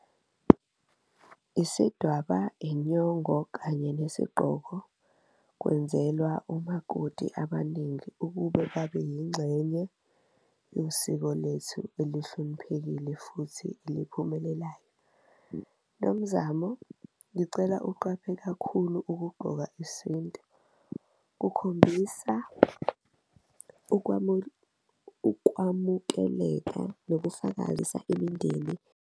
Isidwaba, inyongo kanye nesigqoko kwenzelwa umakoti abaningi ukube babe yingxenye yosiko lwethu elihloniphekile futhi eliphumelelayo. Nomzamo ngicela uqaphe kakhulu ukugqoka isintu kukhombisa ukuwamukeleka, nokufakazisa imindeni.